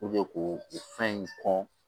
ko o fɛn in kɔn